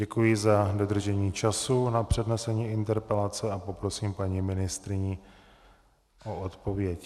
Děkuji za dodržení času na přednesení interpelace a poprosím paní ministryni o odpověď.